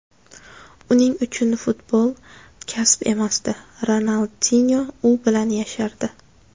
Uning uchun futbol kasb emasdi, Ronaldinyo u bilan yashardi.